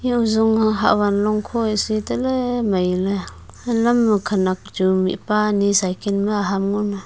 eya ojong ah hahvan longkho heh se taley mailey halam ma khanak chu mihpa anyi cycle ma aham ngo anna.